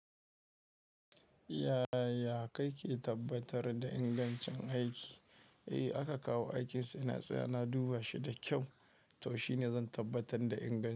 Yaya kake tabbatar da ingancin aiki? Eh aka kawo aikin, sai na siya, na duba shi da kyau. To shine zan tabbatar da inganci.